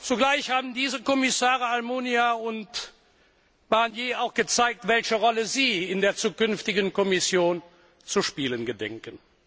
Zugleich haben die Kommissare Almunia und Barnier auch gezeigt, welche Rolle sie in der zukünftigen Kommission zu spielen gedenken.